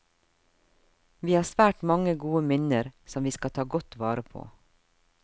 Vi har svært mange gode minner som vi skal ta godt vare på.